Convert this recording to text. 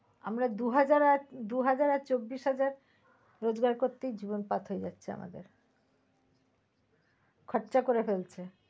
আমরা দুহাজার আর দুহাজার আর চব্বিশ হাজার রোজকার করতেই জীবন পার হয়ে যাচ্ছে আমাদের। খরচা করে ফেলছে।